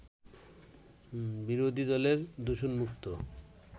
বিরোধী দলের দূষণমুক্ত